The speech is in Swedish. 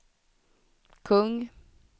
kung